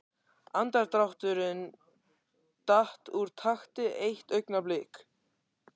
Andardrátturinn datt úr takti eitt augnablik.